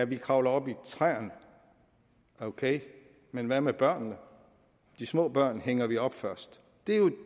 vi kravler op i træerne okay men hvad med børnene de små børn hænger vi op først det er jo